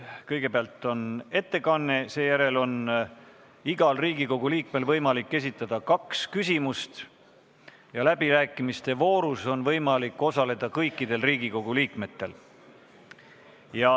Kõigepealt on ettekanne, seejärel on igal Riigikogu liikmel võimalik esitada kaks küsimust ja läbirääkimiste voorus on võimalik osaleda kõikidel Riigikogu liikmetel.